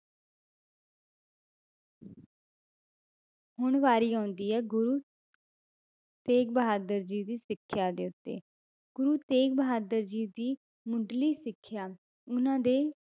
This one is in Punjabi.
ਹੁਣ ਵਾਰੀ ਆਉਂਦੀ ਹੈ ਗੁਰੂ ਤੇਗ ਬਹਾਦਰ ਜੀ ਦੀ ਸਿੱਖਿਆ ਦੇ ਉੱਤੇ l ਗੁਰੂ ਤੇਗ ਬਹਾਦਰ ਜੀ ਦੀ ਮੁੱਢਲੀ ਸਿੱਖਿਆ ਉਹਨਾਂ ਦੇ